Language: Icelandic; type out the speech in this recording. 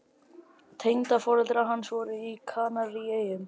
Tengdaforeldrar hans voru á Kanaríeyjum.